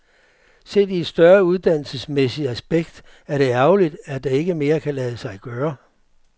Set i et større uddannelsesmæssigt aspekt er det ærgerligt, at det ikke mere kan lade sig gøre.